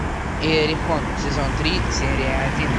иерихон сезон три серия один